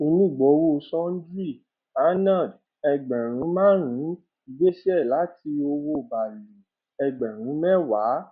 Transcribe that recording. onígbọwọ sundry anand ẹgbẹrún márùnún gbèsè láti owo balu ẹgbẹrún mẹwàá